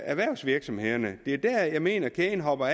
erhvervsvirksomhederne det er der jeg mener at kæden hopper